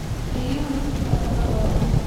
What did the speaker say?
Riyuhu sida cunto loo helo.